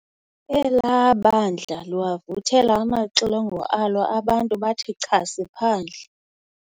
Elaa bandla liwavuthela amaxilongo alo abantu bathi chasi phandle.